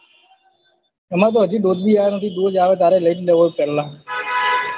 અમારે તો હજી dose ભી આયો નથી dose આવે તો લઇ જ લેવો છે પેલા